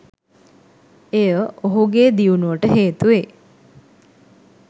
එය ඔහුගේ දියුණුවට හේතුවේ.